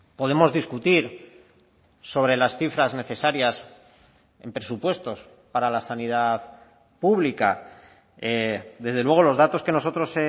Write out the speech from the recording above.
podemos discutir sobre las cifras necesarias en presupuestos para la sanidad pública desde luego los datos que nosotros